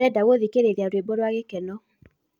ndĩrenda gũthĩkĩrĩrĩa rwĩmbo rwa gĩkeno